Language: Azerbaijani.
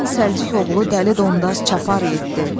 Boz ayğırılı Beyrək çaparaq yetdi.